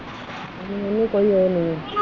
ਨੂਰ ਨੂੰ ਕੋਈ ਉਹ ਨੀ ਹੈ।